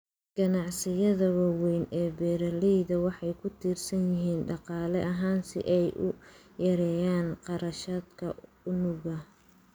Ganacsiyada waaweyn ee beeralayda waxay ku tiirsan yihiin dhaqaale ahaan si ay u yareeyaan kharashaadka unugga.